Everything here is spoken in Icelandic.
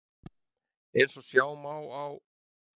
Eins og sjá má á